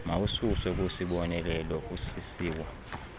mawususwe kwisiboneleelo usisiwa